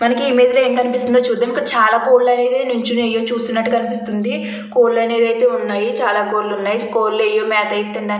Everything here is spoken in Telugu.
మనకి ఇమేజ్ లో ఏం కనిపిస్తుంది చూద్దాము చాలా కోళ్లు అనేది నించొని ఏవో చూస్తున్నట్టుగా కనిపిస్తుంది. కోళ్లు అనేవి ఉన్నాయి. చాలా కోళ్లయితే ఉన్నాయి. కోళ్లు ఏవో మెత్త వేస్తున్నట్టు --